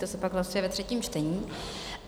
To se pak hlasuje ve třetím čtení.